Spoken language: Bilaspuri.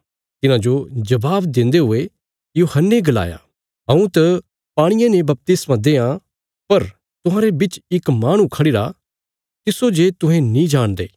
तिन्हांजो जबाब देन्दे हुये यूहन्ने गलाया हऊँ त पाणिये ने बपतिस्मा देआं पर तुहांरे बिच इक माहणु खढ़िरा तिस्सो जे तुहें नीं जाणदे